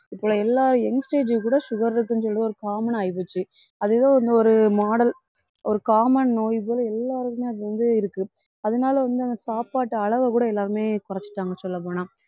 இப்ப எல்லா youngstage க்கு கூட sugar இருக்குன்னு சொல்லிட்டு ஒரு common ஆ ஆயிப்போச்சு அது ஏதோ ஒரு model ஒரு common நோய் போல எல்லாருக்குமே அது வந்து இருக்கு அதனால வந்து அந்த சாப்பாட்டு அளவைக்கூட எல்லாருமே குறைச்சிட்டாங்க சொல்லப்போனா